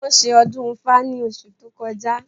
Wọ́n ṣe ọdún ifá ní oṣù tó kọjá